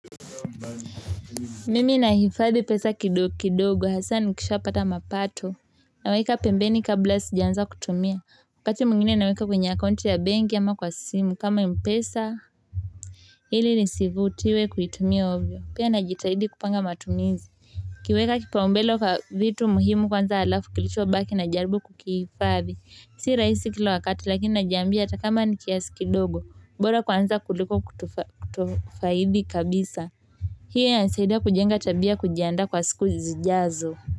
Mimi na hifadhi pesa kidogo kidogo hasa ni kisha pata mapato. Naweka pembeni kabla sija anza kutumia. Wakati mwingine naweka kwenye akaunti ya benki ama kwa simu kama mpesa. Ili nisivutiwe kuitumia ovyo. Pia na jitahidi kupanga matumizi. Kuweka kipaumbele kwa vitu muhimu kwanza alafu kilicho baki na jarbu kukihifadhi. Si rahisi kila wakati lakini najiambia hata kama ni kiasi kidogo. Bora kwanza kuliko kutofaidi kabisa. Pia ina nisaida kujenga tabia kujianda kwa siku zijazo.